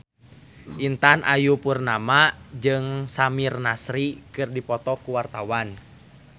Intan Ayu Purnama jeung Samir Nasri keur dipoto ku wartawan